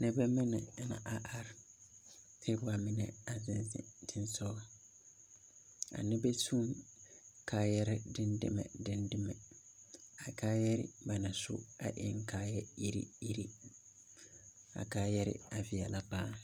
Nebɛ mene na are are. Kyɛ ba mene a zeŋ zeŋ teŋsɔ. A nebɛ su kaayare dedɛmɛ dedɛmɛ. A kaayare ba na su a en kaaya irre irre. A kaayare a veɛla paaa